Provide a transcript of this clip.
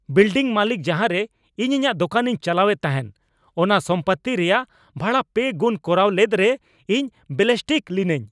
Building ᱢᱟᱹᱞᱤᱠ ᱡᱟᱦᱟᱨᱮ ᱤᱧ ᱤᱧᱟᱹᱜ ᱫᱚᱠᱟᱱᱤᱧ ᱪᱟᱞᱟᱣᱮᱫ ᱛᱟᱦᱮᱱ ᱚᱱᱟ ᱥᱚᱢᱯᱚᱛᱛᱤ ᱨᱮᱭᱟᱜ ᱵᱷᱟᱲᱟ ᱯᱮ ᱜᱩᱱ ᱠᱚᱨᱟᱣ ᱞᱮᱫ ᱨᱮ ᱤᱧ ᱵᱮᱞᱤᱥᱴᱤᱠ ᱞᱤᱱᱟᱹᱧ ᱾